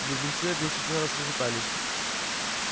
близнецы оглушительно расхохотались